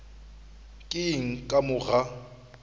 ke eng ka mo ga